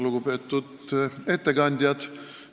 Lugupeetud ettekandjad!